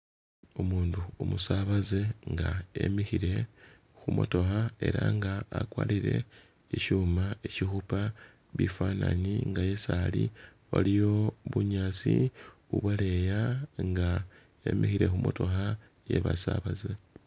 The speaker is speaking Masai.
Umundu umusabaze nga emikhile khu motokha era nga akwarire ishuma ishikhupa bifanani nga yesi ali waliyo bunyaasi ubwaleya nga emikhile khu motokha iye basabaze